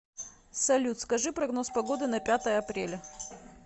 салют скажи прогноз погоды на пятое апреля